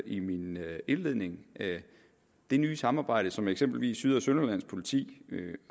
i min indledning har det nye samarbejde som eksempelvis syd og sønderjyllands politi